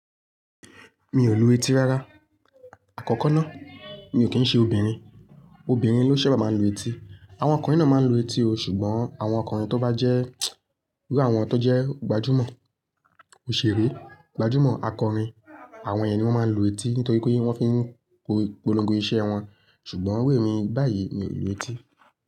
Mi ò lù etí rárá. Àkọ́kọ́ ná, mi ò kí ń ṣe obìnrin. Obìnrin ló ṣabá máa ń lù etí. Àwọn ọkùnrin náà máa ń lù etí o, ṣùgbọ́n àwọn ọkùnrin tó bá jẹ́ bí àwọn tan jẹ́ gbajúmọ̀, òṣèré, gbajúmọ̀ akọrin, àwọn yẹn ni wọ́n máa ń lù etí nítorí pé wọ́n fi ń polongo iṣẹ́ wọn. Sùgbọ́n ìru émi báyìí mi ò lù etí.